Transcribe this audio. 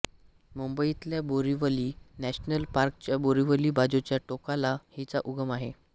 मुंबईतल्या बोरीवली नॅशनल पार्कच्या बोरीवली बाजूच्या टोकाला हिचा उगम आहे